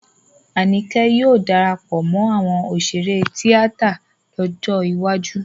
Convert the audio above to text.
Àníkẹ́ yóò darapọ̀ mọ́ àwọn òṣèré tíátà lọ́jọ́ iwájú